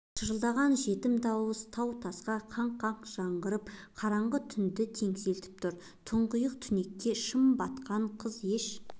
шырылдаған жетім дауыс тау-тасқа қаңқ-қаңқ жаңғырығып қараңғы түнді теңселтіп тұр тұңғиық түнекке шым батқан қыз еш